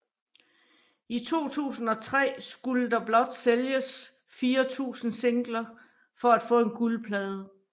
I 2003 skulle der blot sælges 4000 singler for at få en guldplade